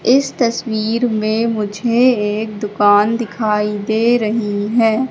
इस तस्वीर में मुझे एक दुकान दिखाई दे रही है।